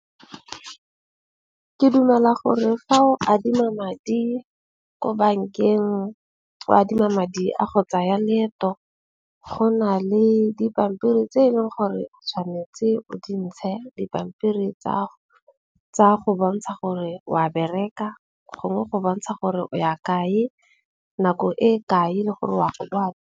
Ke dumela gore fa o adima madi ko bankeng o adima madi a go tsaya leeto, go na le dipampiri tseno gore o tshwanetse o dintšhe, dipampiri tsa go bontsha gore wa bereka gongwe go bontsha gore o ya kae nako e kae le gore wa o a.